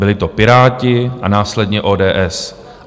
Byli to Piráti a následně ODS.